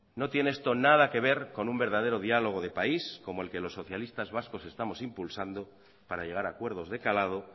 no tiene esto nada que ver con un verdadero diálogo de país como el que los socialistas vascos estamos impulsando para llegar a acuerdos de calado